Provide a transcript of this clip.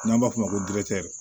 N'an b'a f'o ma ko